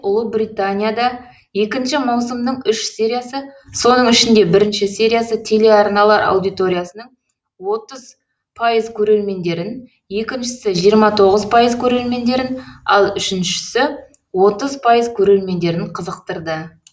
ұлыбританияда екінші маусымның үш сериясы соның ішінде бірінші сериясы телеарналар аудиториясының отыз пайыз көрермендерін екіншісі жиырма тоғыз пайыз көрермендерін ал үшінші отыз пайыз көрермендерін қызықтырды